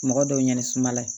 Mɔgɔ dɔw ɲɛni sumala